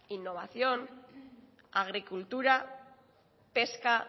innovación agricultura pesca